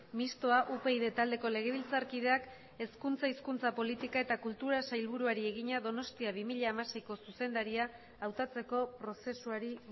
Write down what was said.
mistoa upyd taldeko legebiltzarkideak hezkuntza hizkuntza politika eta kulturako sailburuari egina donostia bi mila hamaseiko zuzendaria hautatzeko prozesuari